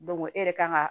e yɛrɛ kan ga